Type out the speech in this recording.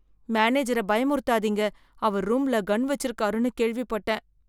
மேனேஜர பயமுறுத்தாதீங்க, அவர் ரூம்ல கன் வெச்சிருக்காருன்னு கேள்விப்பட்டேன்.